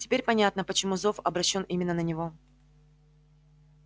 теперь понятно почему зов обращён именно на него